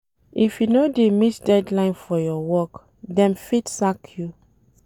If you no dey meet deadline for your work, dem fit sack you.